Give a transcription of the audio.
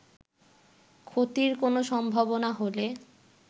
ক্ষতির কোন সম্ভাবনা হলে